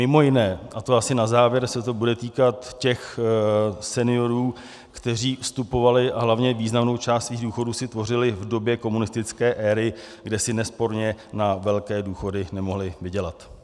Mimo jiné - a to asi na závěr - se to bude týkat těch seniorů, kteří vstupovali a hlavně významnou část svých důchodů si tvořili v době komunistické éry, kde si nesporně na velké důchody nemohli vydělat.